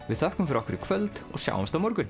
við þökkum fyrir okkur í kvöld og sjáumst á morgun